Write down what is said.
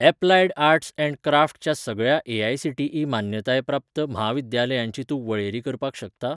Applied arts and crafts च्या सगळ्या AICTE मान्यताय प्राप्त म्हाविद्यालयांची तूं वळेरी करपाक शकता?